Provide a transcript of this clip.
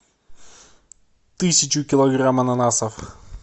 тысячу килограмм ананасов